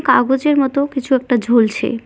কাগজের মতো কিছু একটা ঝুলছে।